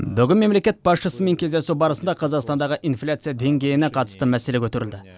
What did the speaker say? бүгін мемлекет басшысымен кездесу барысында қазақстандағы инфляция деңгейіне қатысты мәселе көтерілді